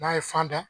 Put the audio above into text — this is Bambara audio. N'a ye fan da